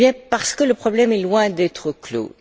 Parce que le problème est loin d'être clos.